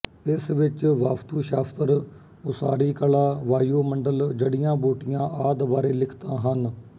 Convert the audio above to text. ਇਸ ਵਿੱਚ ਵਿੱਚ ਵਾਸਤੂ ਸ਼ਾਸਤਰ ਉਸਾਰੀ ਕਲਾ ਵਾਯੂਮੰਡਲ ਜੜ੍ਹੀਆਂਬੂਟੀਆਂ ਆਦਿ ਬਾਰੇ ਲਿਖਤਾਂ ਹਨ